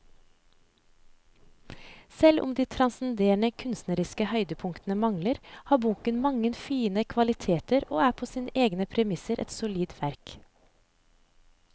Selv om de transcenderende kunstneriske høydepunktene mangler, har boken mange fine kvaliteter og er på sine egne premisser et solid verk.